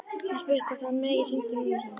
Hann spyr hvort hann megi hringja í mömmu sína.